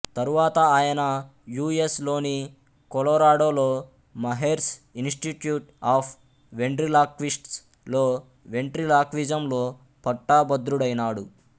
తరువాత ఆయన U S లోణి కొలొరాడో లో మహెర్స్ ఇనిస్టిట్యూట్ ఆఫ్ వెండ్రిలాక్విస్ట్స్ లో వెంట్రిలాక్విజం లో పట్టభద్రుడైనాడు